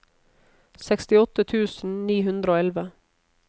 sekstiåtte tusen ni hundre og elleve